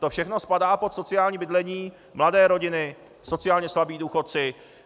To všechno spadá pod sociální bydlení: mladé rodiny, sociálně slabí důchodci.